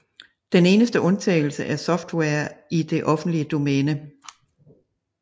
Den eneste undtagelse er software i det offentlige domæne